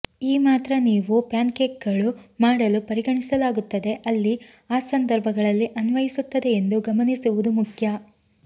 ಈ ಮಾತ್ರ ನೀವು ಪ್ಯಾನ್ಕೇಕ್ಗಳು ಮಾಡಲು ಪರಿಗಣಿಸಲಾಗುತ್ತದೆ ಅಲ್ಲಿ ಆ ಸಂದರ್ಭಗಳಲ್ಲಿ ಅನ್ವಯಿಸುತ್ತದೆ ಎಂದು ಗಮನಿಸುವುದು ಮುಖ್ಯ